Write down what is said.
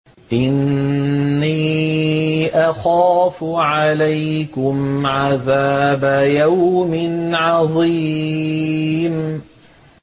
إِنِّي أَخَافُ عَلَيْكُمْ عَذَابَ يَوْمٍ عَظِيمٍ